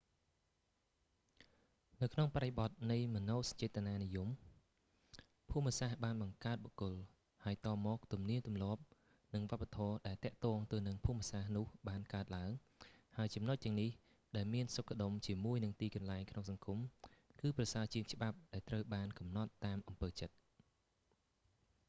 នៅក្នុងបរិបទនៃមនោសញ្ចេតនានិយម ភូមិសាស្ត្របានបង្កើតបុគ្គល ហើយតមក ទំនៀមទម្លាប់និងវប្បធម៌ដែលទាក់ទងទៅនឹងភូមិសាស្ត្រនោះបានកើតឡើង ហើយចំណុចទាំងនេះ ដែលមានសុខដុមជាមួយនឹងទីកន្លែងក្នុងសង្គម គឺប្រសើរជាងច្បាប់ដែលត្រូវបានកំណត់តាមអំពើចិត្ត